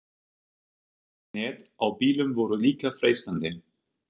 Loftnet á bílum voru líka freistandi.